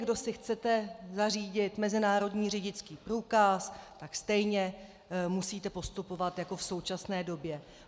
Kdo si chcete zařídit mezinárodní řidičský průkaz, tak stejně musíte postupovat jako v současné době.